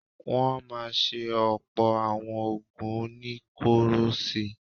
Wọ́n máa ṣe ọ̀pọ̀ àwọn oògùn oníkóró sí i.